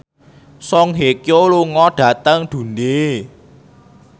Song Hye Kyo lunga dhateng Dundee